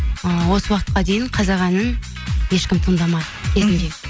ыыы осы уақытқа дейін қазақ әнін ешкім тыңдамады кезінде